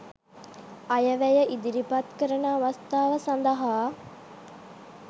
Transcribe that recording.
අයවැය ඉදිරිපත් කරන අවස්ථාව සඳහා